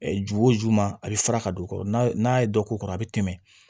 jogo o juma a bɛ fara ka don o kɔrɔ n'a ye dɔ k'o kɔrɔ a bɛ tɛmɛ